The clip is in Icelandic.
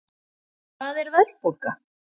Hvað er verðbólga?